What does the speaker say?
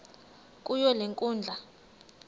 kuyo le nkundla